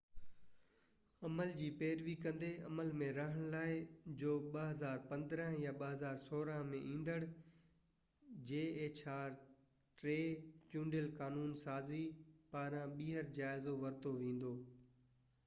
عمل جي پيروي ڪندي عمل ۾ رهڻ لاءِ hjr-3 جو 2015 يا 2016 ۾ ايندڙ چونڊيل قانون سازي پاران ٻيهر جائزو ورتو ويندو